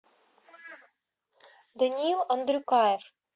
даниил андрюкаев